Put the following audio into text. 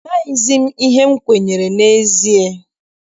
Amaghịzi m ihe m kwenyere n'ezie.